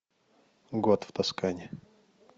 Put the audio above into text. год в тоскане